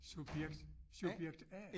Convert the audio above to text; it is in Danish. Subjekt subjekt a